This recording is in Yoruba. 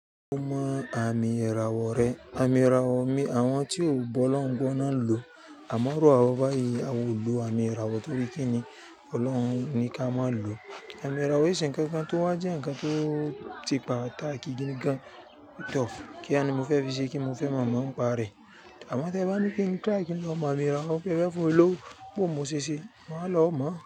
Ó mọ àmì ìràwọ̀ rẹ. Àmì ìràwọ̀ ni àwọn tí ò bọ́ Olorun gbo naa ń lò. Àmọ́ iru ó báyìí, awa ò lò àmì ìràwọ̀ torí kí ni? Ọlọ́run ní ká má lò. Àmì ìràwọ̀ e se ń kankan tó wà jẹ́ ǹkan tó ti se patàkì gangan tọ. Kíá ni mo fẹ́ fi ṣé kí mo fẹ́ mọ̀ọ́mọ̀ ń pa rẹ̀. Àmọ́ tí ẹ bá ní kí n triì ki lọ mọ àmì ìràwọ̀, pe e fẹ́ fún mi lówó kó mo ṣẹṣẹ, màá lọ mọ̀